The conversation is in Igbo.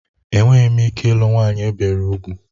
Enweghị m ike ịlụ nwanyị ebiri úgwù.